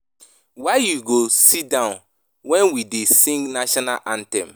Why you go sit down wen we dey sing national anthem